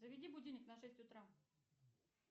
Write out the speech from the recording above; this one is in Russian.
заведи будильник на шесть утра